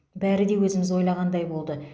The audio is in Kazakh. бәрі де өзіміз ойлағандай болды